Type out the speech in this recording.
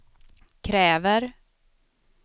kräver